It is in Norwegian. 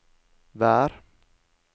vær